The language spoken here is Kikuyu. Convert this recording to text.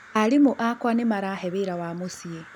Arimũ akwa nĩmarahe wĩra wa mũciĩ